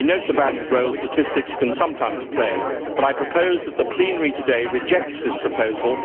We note the valued role statistics can sometimes play, but I propose that the plenary today rejects this proposal.